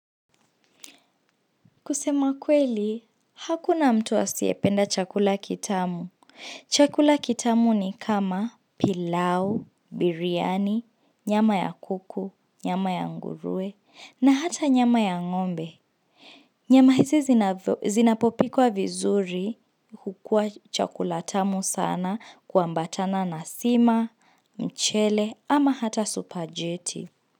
Kusema kweli, hakuna mtu asiependa chakula kitamu. Chakula kitamu ni kama pilau, biryani, nyama ya kuku, nyama ya ngurue, na hata nyama ya ngombe. Nyama hizi zinapopikwa vizuri hukua chakula tamu sana kwa mbatana na sima, mchele, ama hata superjeti.